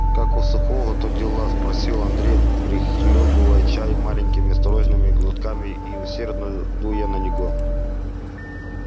как у сухого-то дела спросил андрей прихлёбывая чай маленькими осторожными глотками и усердно дуя на него